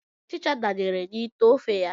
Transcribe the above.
Ọchịcha danyere n'ite ofe ya.